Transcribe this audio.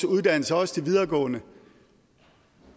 uddannelser også de videregående